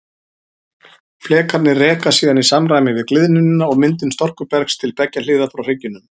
Flekarnir reka síðan í samræmi við gliðnunina og myndun storkubergs til beggja hliða frá hryggjunum.